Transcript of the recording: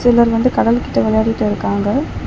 சிலர் வந்து கடல் கிட்ட விளையாடிட்டு இருக்காங்க.